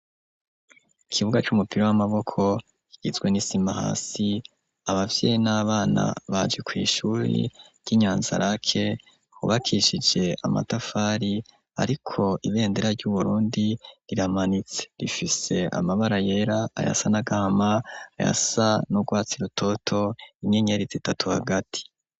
Ikibuga c'umupira w'amaboko kigizwe n'isima hasi, abavyeyi n'abana baje kw'ishure ry'Inyanza rake, hubakishije amatafari ariko ibendera ry'Uburundi riramanitse. Rifise amabara yera, ayasa n'agahama, ayasa n'urwatsi rutoto, inyenyeri zitatu hagati.